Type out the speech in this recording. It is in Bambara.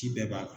Ci bɛɛ b'a la